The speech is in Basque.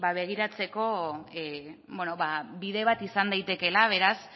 begiratzeko bide bat izan daitekeela beraz